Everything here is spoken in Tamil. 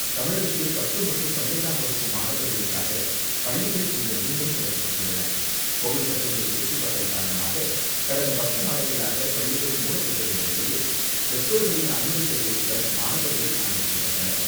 தமிழகத்தில் பத்து மற்றும் பன்னிரெண்டாம் வகுப்பு மாணவர்களுக்காக பள்ளிகள் இன்று மீண்டும் திறக்கப்பட்டுள்ளன. கோவிட் பத்தொன்பது தொற்று பரவல் காரணமாக கடந்த பத்து மாதங்களாக பள்ளிகள் மூடப்பட்டிருந்த நிலையில், பெற்றோர்களின் அனுமதி கடிதத்துடன் மாணவர்கள் அனுமதிக்கப்பட்டனர்.